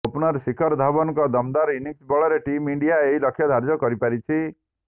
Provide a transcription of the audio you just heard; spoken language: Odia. ଓପନର ଶିଖର ଧାୱନଙ୍କ ଦମଦାର ଇଂନିସ ବଳରେ ଟିମ୍ ଇଣ୍ଡିଆ ଏହି ଲକ୍ଷ୍ୟ ଧାର୍ଯ୍ୟ କରିପାରିଛି